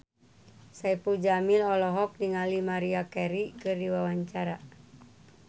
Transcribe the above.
Saipul Jamil olohok ningali Maria Carey keur diwawancara